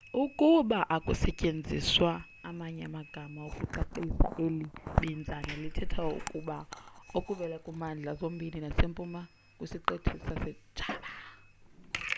ukuba akusetyenziswa amanye amagama okucacisa eli binzana lithetha ukutya okuvela kwimimandla zombindi nasempuma kwisiqithi sasejava